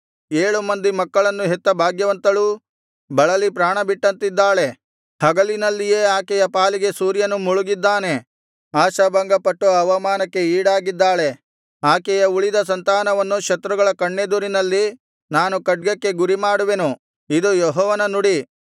ಏಳು ಮಂದಿ ಮಕ್ಕಳನ್ನು ಹೆತ್ತ ಭಾಗ್ಯವಂತಳೂ ಬಳಲಿ ಪ್ರಾಣಬಿಟ್ಟಂತಿದ್ದಾಳೆ ಹಗಲಿನಲ್ಲಿಯೇ ಆಕೆಯ ಪಾಲಿಗೆ ಸೂರ್ಯನು ಮುಳುಗಿದ್ದಾನೆ ಆಶಾಭಂಗಪಟ್ಟು ಅವಮಾನಕ್ಕೆ ಈಡಾಗಿದ್ದಾಳೆ ಆಕೆಯ ಉಳಿದ ಸಂತಾನವನ್ನು ಶತ್ರುಗಳ ಕಣ್ಣೆದುರಿನಲ್ಲಿ ನಾನು ಖಡ್ಗಕ್ಕೆ ಗುರಿಮಾಡುವೆನು ಇದು ಯೆಹೋವನ ನುಡಿ